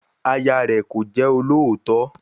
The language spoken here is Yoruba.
Aya rẹ̀ kò jẹ́ olóòótọ́